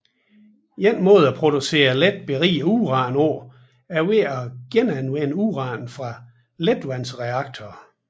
En måde at producere let beriget uran på er ved at genanvende uran fra letvandsreaktorer